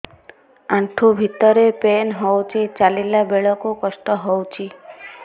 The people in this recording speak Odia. ଆଣ୍ଠୁ ଭିତରେ ପେନ୍ ହଉଚି ଚାଲିଲା ବେଳକୁ କଷ୍ଟ ହଉଚି